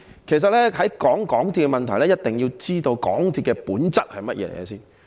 其實，在談論港鐵的問題前，一定要知道港鐵的本質為何。